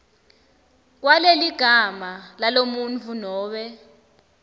kwaleligama lalomuntfu nobe